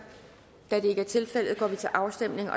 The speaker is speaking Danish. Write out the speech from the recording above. da det ikke er tilfældet går vi til afstemning